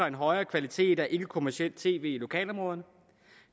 en højere kvalitet af ikkekommercielt tv i lokalområderne